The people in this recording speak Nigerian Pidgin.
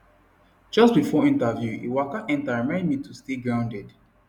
just before interview he waka enter remind me to stay grounded